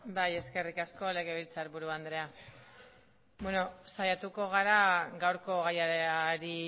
bai eskerrik asko legebiltzarburu andrea beno saiatuko gara gaurko gaiari